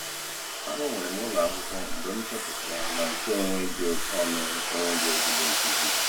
A gbanwere m ụlọ akwụkwọ mgbe m chọpụtara na nkeonwe dị oke ọnụ enweghị ezigbo nkuzi.